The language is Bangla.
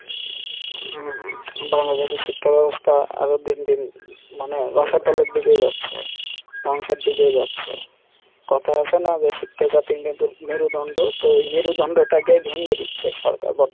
হম বাংলাদেশে শিক্ষা ব্যাবস্থা আরো দিন দিন মানে তলের দিকে যাচ্ছে ধংসের দিকেই যাচ্ছে কথাই আছে না যে শিক্ষা জাতির মেরুদন্ড? তো এই মেরুদন্ড টাকে ভেঙে দিচ্ছে সরকার,